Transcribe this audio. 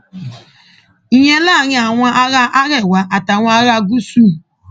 ìyẹn láàrin àwọn ará arẹwà àtàwọn ará gúúsù